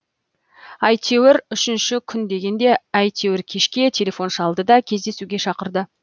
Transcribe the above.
әйтеуір үшінші күн дегенде әйтеуір кешке телефон шалды да кездесуге шақырды